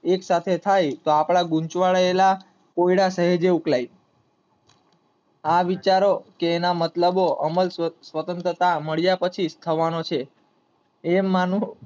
એક સાથે થાય તો આપડા ઘૂંચવાયેલા કોયડા સેહેજે ઉકેલાય. આ વિચારો કે અને મતલબો સ્વતંત્રા મળ્યા પછી જ થાવનું છે. એમ માંનુ